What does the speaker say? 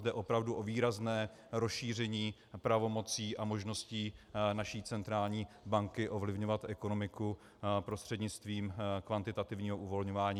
Jde opravdu o výrazné rozšíření pravomocí a možností naší centrální banky ovlivňovat ekonomiku prostřednictvím kvantitativního uvolňování.